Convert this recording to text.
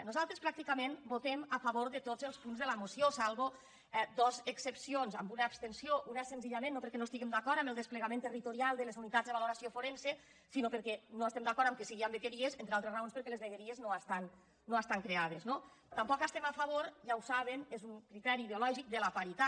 nosaltres pràcticament votem a favor de tots els punts de la moció llevat dos excepcions amb una abstenció una senzillament no perquè no estiguem d’acord amb el desplegament territorial de les unitats de valoració forense sinó perquè no estem d’acord que sigui en vegueries entre altres raons perquè les vegueries no estan creades no tampoc estem a favor ja ho saben és un criteri ideològic de la paritat